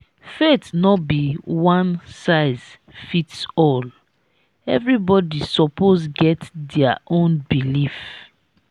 faith no be one-size-fits-all; everybody suppose get dia own belief.